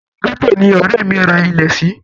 Inú gẹ́tò ni ọ̀rẹ́ mi ra ilẹ̀ sí.